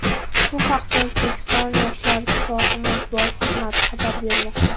Bu haqda O‘zbekiston Yoshlar ittifoqi matbuot xizmati xabar bermoqda.